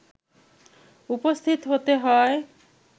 উপস্থিত হতে হয়